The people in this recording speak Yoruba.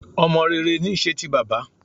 Ọmọ rere ní í ṣe ti bàbá